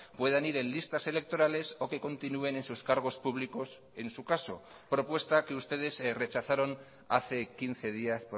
puedan ir en listas electorales o que continúen en sus cargos públicos en su caso propuesta que ustedes rechazaron hace quince días